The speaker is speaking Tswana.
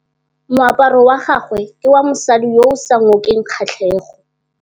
Moaparô wa gagwe ke wa mosadi yo o sa ngôkeng kgatlhegô.